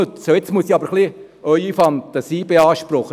Jetzt muss ich aber ein bisschen Ihre Fantasie beanspruchen: